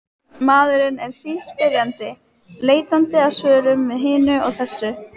Maðurinn er síspyrjandi, leitandi að svörum við hinu og þessu.